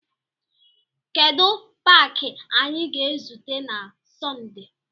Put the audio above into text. Kedu paaki anyị ga-ezute na Sọnde?